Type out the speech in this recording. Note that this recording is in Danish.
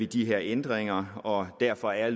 de her ændringer og derfor er